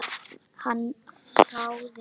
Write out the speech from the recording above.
Hann hváði.